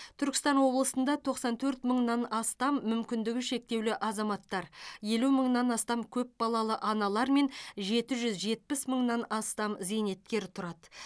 түркістан облысында тоқсан төрт мыңнан астам мүмкіндігі шектеулі азаматтар елу мыңнан астам көпбалалы аналар мен жеті жүз жетпіс мыңнан астам зейнеткер тұрады